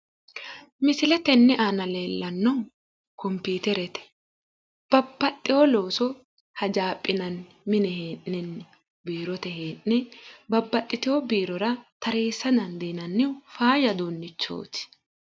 Misile tenne aana leellannohu kompiiterete , babbaxewo looso hajaaphinanni mine hee'nenni, biirote hee'nenni. babbaxxitewo biirora tareessa dandiinanni faayya uduunnichooti.